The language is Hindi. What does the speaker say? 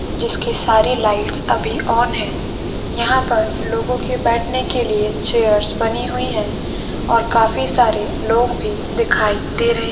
जिसके सारे लाइट्स अभी ऑन है। यहाँ पर लोगो के बैठने के लिए चेअर्स बनी हुई है और काफी सारे लोग भी दिखाई दे रहे।